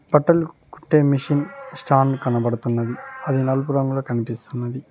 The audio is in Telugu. బట్టలు కుట్టే మిషిన్ స్టాండ్ కనబడుతున్నది అది నలుపు రంగులో కనిపిస్తున్నది